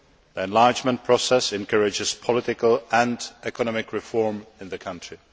The enlargement process encourages political and economic reform in the country.